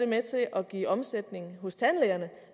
med til at give omsætning hos tandlægerne